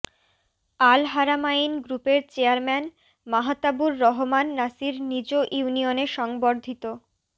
Al Haramain গ্রুপের chairman Mahtabur Rahman Nasir নিজ ইউনিয়নে সংবর্ধিত